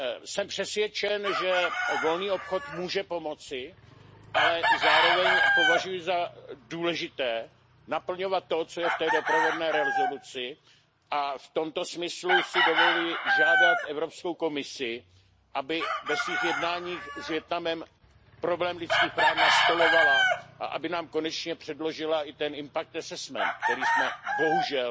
Jsem přesvědčen, že volný obchod může pomoci, ale zároveň považuji za důležité naplňovat to, co je v té doprovodné rezoluci, a v tomto smyslu si dovoluji žádat Evropskou komisi, aby ve svých jednáních s Vietnamem problém lidských práv nastolovala a aby nám konečně předložila i ten impact assessment který jsme bohužel